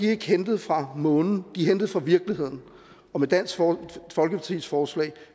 er ikke hentet fra månen de er hentet fra virkeligheden og med dansk folkepartis forslag